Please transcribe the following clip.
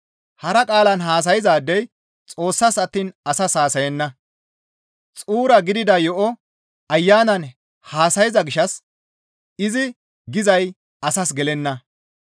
Hara qaalan haasayzaadey Xoossas attiin asas haasayenna; xuura gidida yo7o Ayanan haasayza gishshas izi gizay asas gelenna.